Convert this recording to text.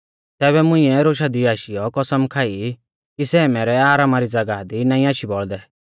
तैबै मुंइऐ रोशा दी आशीयौ कसम खाई कि सै मैरै आरामा री ज़ागाह दी नाईं आशी बौल़दै